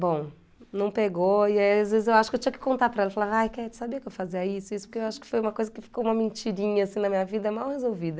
Bom, não pegou e aí às vezes eu acho que eu tinha que contar para ela, falar aí Catty sabia que eu fazia isso e isso, porque eu acho que foi uma coisa que ficou uma mentirinha assim na minha vida mal resolvida.